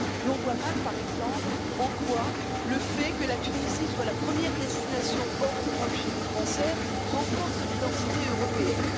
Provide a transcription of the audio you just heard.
L'on voit mal, par exemple, en quoi le fait que la Tunisie soit la première destination hors Europe chez les Français renforce l'identité européenne.